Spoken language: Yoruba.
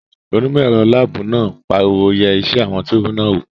Onímọ̀ ẹ̀rọ láàbù náà pariwo "yẹ iṣẹ́ àwọn túùbù náà wò!"